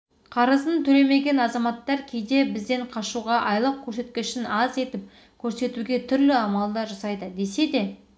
қарызын төлемеген азаматтар кейде бізден қашуға айлық көрсеткішін аз етіп көрсетуге түрлі амалдар жасайды десе де